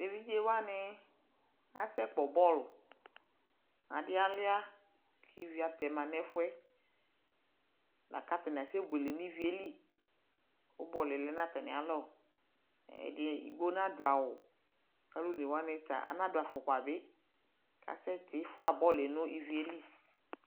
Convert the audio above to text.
eviɖƶewani asɛ kpɛ bɔl aɖialʋa kivi atɛƒʋ wani stɛma nɛƒʋɛ lakʋ atani asɛ bʋele ni ivieli kʋ bɔlʋɛ lɛ atamialɔ ɛɖigbo naɖʋawu alʋnewani anaɖʋ aƒʋkpabi kasɛ tiƒʋa bɔlʋɛ ni ivieli